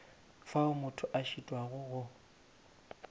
fao motho a šitwago go